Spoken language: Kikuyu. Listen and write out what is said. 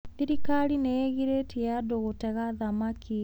Thirikari nĩ ĩgirĩtie andũ gũtega thamaki.